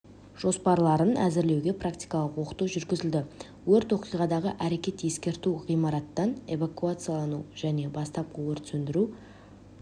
жоспарларын әзірлеуге практикалық оқыту жүргізілді өрт оқиғадағы әрекет ескерту ғимараттан эвакуациялану және бастапқы өрт сөндіру